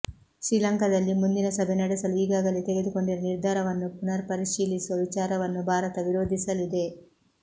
ಶ್ರೀಲಂಕಾದಲ್ಲಿ ಮುಂದಿನ ಸಭೆ ನಡೆಸಲು ಈಗಾಗಲೇ ತೆಗೆದುಕೊಂಡಿರುವ ನಿರ್ಧಾರವನ್ನು ಪುನರ್ಪರಿಶೀಲಿಸುವ ವಿಚಾರವನ್ನೂ ಭಾರತ ವಿರೋಧಿಸಲಿದೆ